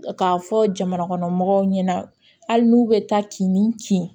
K'a fɔ jamanakɔnɔmɔgɔw ɲɛna hali n'u bɛ taa kin ni kin